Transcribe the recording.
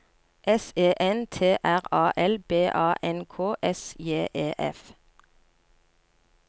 S E N T R A L B A N K S J E F